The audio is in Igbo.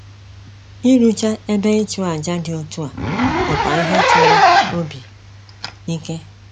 Ịrụchaa ebe ịchụ aja dị otu a bụkwa ihe chọrọ obi ike.